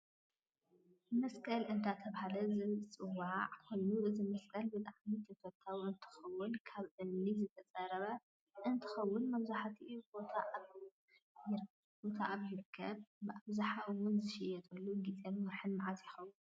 መስቀል እዳተበሃለ ዝዋዕ ኮይኑ እዚ መስቀል ብጣዓሚ ተፈታዊ እንትከውን ካብ እመኒ ዝተፀረብ እንትከውን መብዛሕቲኡ ቦታ ኣብ ይርከብ ብኣብዝሓ እውን ዝሽየጠሉ ግዘን ወርሓት መዓዝ ይከውን?